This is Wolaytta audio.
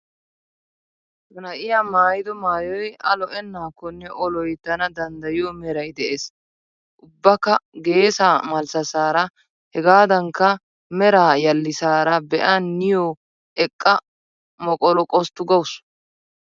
Ha na'iyaa maaayido maayoy A lo"ennaakkonne O loyttana danddayiyoo meray de'ees. Ubbakka geesaa malssassaara hegaadankka meraa yallissaara be'a niyyoo eqqa moqoluqosttu gawusu.